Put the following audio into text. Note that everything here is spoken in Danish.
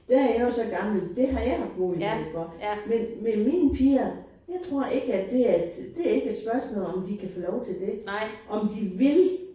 Der er jeg jo så gammel det har jeg haft mulighed for. Men men mine piger jeg tror ikke at det er et det er ikke et spørgsmål om de kan få lov til det. Om de vil!